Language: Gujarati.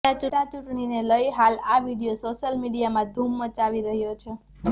પેટા ચૂંટણીને લઈ હાલ આ વીડિયો સોશિયલ મીડિયામાં ધૂમ મચાવી રહ્યો છે